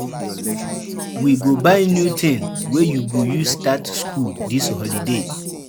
We go buy new tin wey you go use start skool dis holiday.